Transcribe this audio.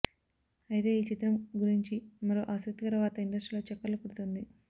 ఐతే ఈ చిత్రం గురించి మరో ఆసక్తికర వార్త ఇండస్ట్రీలో చక్కర్లు కొడుతుంది